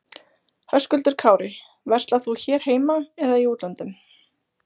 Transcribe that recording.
Höskuldur Kári: Verslar þú hér heima eða í útlöndum?